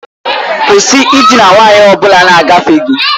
Kwụsị ịdina nwanyị ọ bụla na-agafe gị!